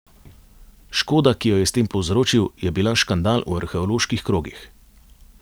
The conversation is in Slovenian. Škoda, ki jo je s tem povzročil, je bila škandal v arheoloških krogih.